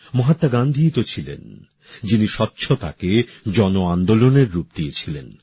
মহাত্মা গান্ধীই স্বচ্ছতাকে জনআন্দোলনের রূপ দিয়েছিলেন